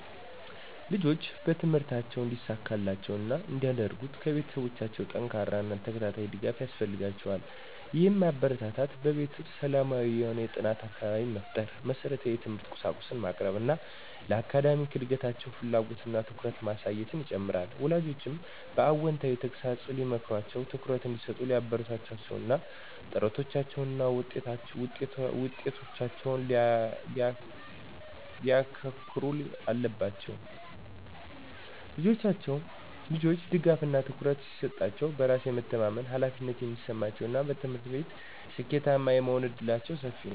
ልጆች በትምህርታቸው እንዲሳካላቸው እና እንዲያድርጉ ከቤተሰቦቻቸው ጠንካራ እና ተከታታይ ድጋፍ ያስፈልጋቸዋል። ይህም ማበረታታት፣ በቤት ውስጥ ሰላማዊ የሆነ የጥናት አካባቢ መፍጠር፣ መሰረታዊ የትምህርት ቁሳቁሶችን ማቅረብ እና ለአካዳሚክ እድገታቸው ፍላጎት እና ትኩረትን ማሳየትን ይጨምራል። ወላጆችም በአዎንታዊ ተግሣጽ ሊመክሯቸው፣ ትኩረት እንዲሰጡ ሊያበረታቷቸው እና ጥረቶቻቸውን እና ውጤቶቻቸውን ሊያከንሩ አለባቸው። ልጆች ድጋፍ እና ትኩረት ሲሰጣሸው በራስ የሚተማመመኑ፣ ኃላፊነት የሚሰማቸው እና በትምህርት ቤት ስኬታማ የመሆን እድላቸው ሰፊ ነው።